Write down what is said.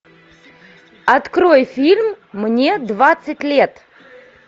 открой фильм мне двадцать лет